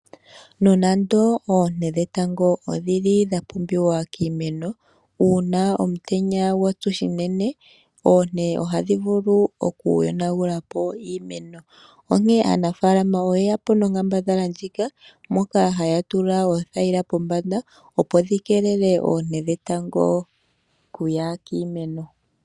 Nonando oonte dhetango odhili dhapumbiwa kiimeno, uuna omutenya gwatsu unene, oonte ohadhi vulu okuyi yonagulapo unene . Onkene aanafaalama oye yapo nonkambadhala moka haya tula pothayila pombanda opo dhikeelele oonte dhetango okuya kiimeno.